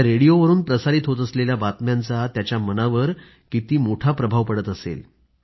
त्या रेडिओवरून प्रसारित होत असलेल्या बातम्यांचा त्याच्या मनावर किती मोठा प्रभाव पडत असणार